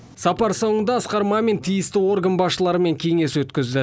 сапар соңында асқар мамин тиісті орган басшыларымен кеңес өткізді